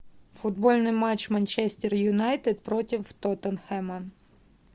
футбольный матч манчестер юнайтед против тоттенхэма